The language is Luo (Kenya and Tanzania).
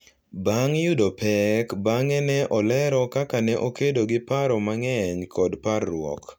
Bang’ yudo pek, bang’e ne olero kaka ne okedo gi paro mang’eny kod parruok.